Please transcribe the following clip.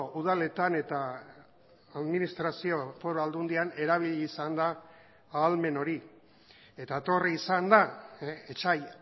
udaletan eta administrazio foru aldundian erabili izan da ahalmen hori eta etorri izan da etsai